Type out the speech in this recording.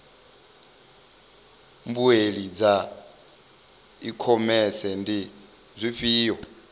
naa mbuelo dza ikhomese ndi dzifhio